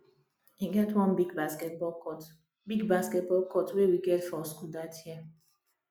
e get one big basketball court big basketball court we get for school dat year